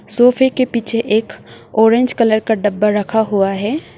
सोफे के पीछे एक ऑरेंज कलर का डब्बा रखा हुआ है।